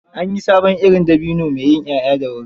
An yi sabon irin dabino mai yin 'ya'ya da wuri.